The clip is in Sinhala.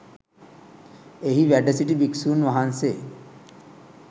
එහි වැඩසිටි භික්‍ෂූන් වහන්සේ